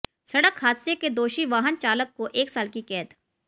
सड़क हादसे के दोषी वाहन चालक को एक साल की कैद